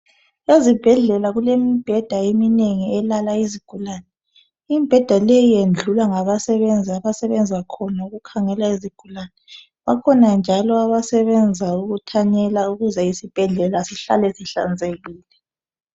Ezibhedlela kulemibheda eminengi elala izigulane imibheda leyi yendlulwa ngabasebenzii abasebenza khona ukukhangela izigulane bakhona njalo abasebenza ukuthanyela ukuze isibhedlela sihlale sihlanzekile .